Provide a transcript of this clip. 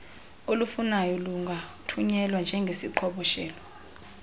olufunwayo lungathunyelwa njengeziqhoboshelo